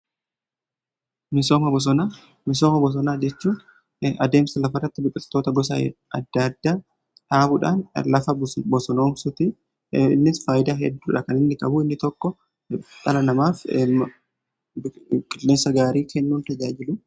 Misooma bosonaa jechuun adeemsa lafarratti biqiltoota bosonaa adda addaa dhaabuudhaan lafa bosonoomsuti. Innis faayidaa hedduu qaba. Faayidaa inni qabu inni tokko namaaf qilleensa gaarii kennuun tajaajilu.